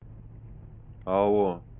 алло